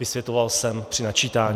Vysvětloval jsem při načítání.